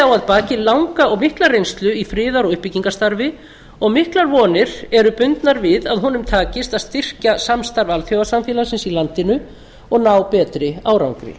eide á að baki mikla reynslu í friðar og uppbyggingarstarfi og miklar vonir eru bundnar við að honum takist að styrkja samstarf alþjóðasamfélagsins í landinu og ná betri árangri